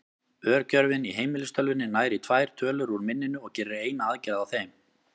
Örgjörvinn í heimilistölvunni nær í tvær tölur úr minninu og gerir eina aðgerð á þeim.